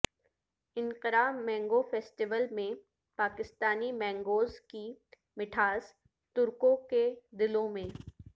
Ankara mango festival میں پاکستانی mangoes کی میٹھاس ترکوں کے دلوں میں